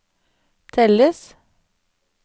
telles